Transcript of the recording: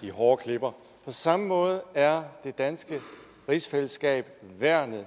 de hårde klipper på samme måde er det danske rigsfællesskab værnet